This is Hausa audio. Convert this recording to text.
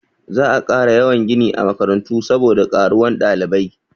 Za a ƙara yawan gini a makarantu saboda ƙaruwan ɗalibai.